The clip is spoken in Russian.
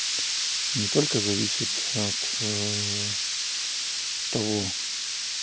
не только зависит от того